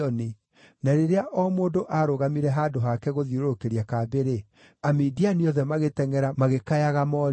Na rĩrĩa o mũndũ aarũgamire handũ hake gũthiũrũrũkĩria kambĩ-rĩ, Amidiani othe magĩtengʼera, magĩkayaga morĩte.